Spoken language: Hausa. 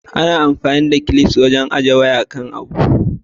Ana amfani da clips wajen haɗin waya zun kan abu.